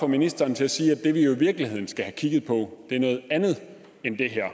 ministeren til at sige at det vi jo i virkeligheden skal have kigget på er noget andet end det her